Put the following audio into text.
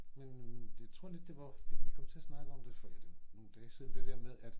Men men det tror lidt det var vi kom til at snakke om det for ja det var nogen dage siden det der med at